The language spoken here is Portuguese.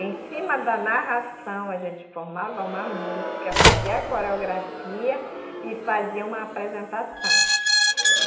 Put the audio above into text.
Em cima da narração, a gente formava uma música, fazia coreografia e fazia uma apresentação.